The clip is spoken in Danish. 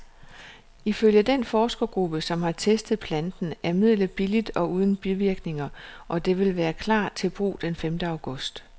Ifølge den forskergruppe, som har testet planten, er midlet billigt og uden bivirkninger, og det vil klar til brug den femte august.